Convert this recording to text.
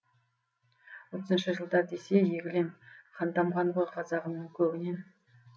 отызыншы жылдар десе егілем қан тамған ғой қазағымның көгінен